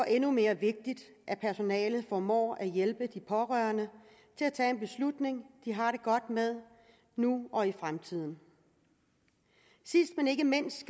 endnu mere vigtigt at personalet formår at hjælpe de pårørende til at tage en beslutning de har det godt med nu og i fremtiden sidst men ikke mindst